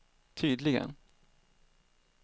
tydligen